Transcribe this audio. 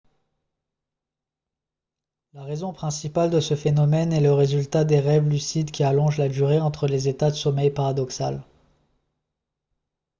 la raison principale de ce phénomène est le résultat des rêves lucides qui allongent la durée entre les états de sommeil paradoxal